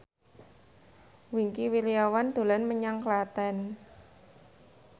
Wingky Wiryawan dolan menyang Klaten